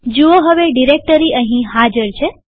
જુઓ હવે ડિરેક્ટરી અહીં હાજર છે